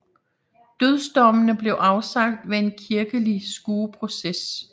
Dødsdommene blev afsagt ved en kirkelig skueproces